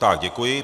Tak děkuji.